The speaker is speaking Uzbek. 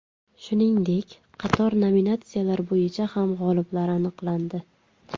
Shuningdek, qator nominatsiyalar bo‘yicha ham g‘oliblar aniqlandi.